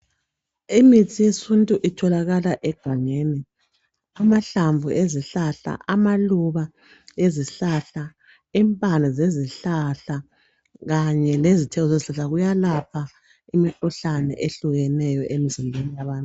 Imithi yesintu itholakala egangeni. Amahlamvu ezihlahla, amaluba ezihlahla, impande zezihlahla kanye lezithelo zezihlahla kuyelapha imikhuhlane ehlukeneyo emzimbeni.